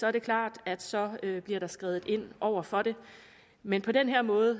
er det klart at så bliver der skredet ind over for det men på den her måde